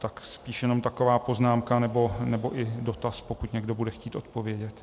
Tak spíše jenom taková poznámka nebo i dotaz, pokud někdo bude chtít odpovědět.